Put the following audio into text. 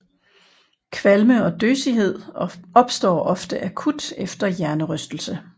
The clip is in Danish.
Kvalme og døsighed opstår ofte akut efter hjernerystelse